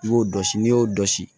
I b'o dɔsi n'i y'o dɔ si